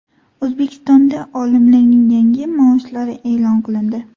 O‘zbekistonda olimlarning yangi maoshlari e’lon qilindi.